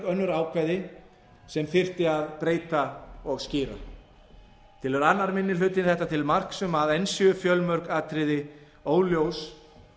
önnur ákvæði sem þyrfti að breyta og skýra telur annar minni hlutinn þetta til marks um að enn séu fjölmörg atriði óljós